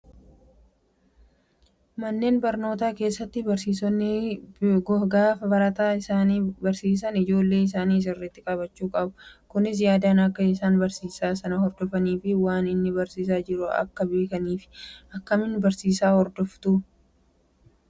Manneen barnootaa keessatti barsiisonni gaafa barataa isaanii barsiisan ijoollee isaanii sirriitti qabachuu qabu. Kunis yaadaan akka isaan barsiisaa sana hordofanii fi waan inni barsiisaa jiru akka beekaniifi. Akkamiin barsiisaa hordofuu?